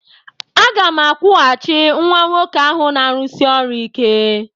Aga m akwụghachi nwa nwoke ahụ na-arụsi ọrụ ike.